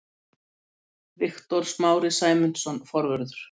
Viktor Smári Sæmundsson, forvörður.